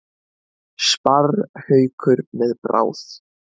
Sparrhaukur með bráð.